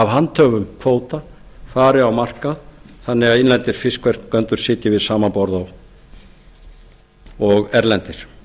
handhöfum kvóta fari á markað þannig að innlendir fiskverkendur sitji við sama borð og erlendir